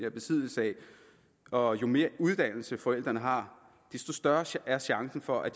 i besiddelse af og jo mere uddannelse forældrene har desto større er chancen for at